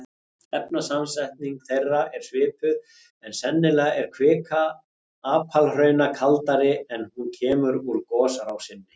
Efnasamsetning þeirra er svipuð en sennilega er kvika apalhrauna kaldari er hún kemur úr gosrásinni.